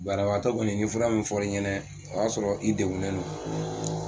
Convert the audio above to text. Banabagatɔ kɔni ye fura min fɔ i ɲɛnɛ o y'a sɔrɔ i degunen don